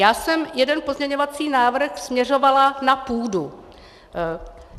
Já jsem jeden pozměňovací návrh směřovala na půdu.